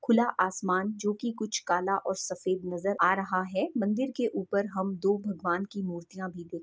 खुला आसमान जो कि कुछ काला और सफ़ेद नज़र आ रहा है मंदिर के ऊपर हम दो भगवान की मूर्तियां भी देख --